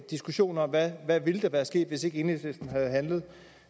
diskussion om hvad der ville være sket hvis ikke enhedslisten havde handlet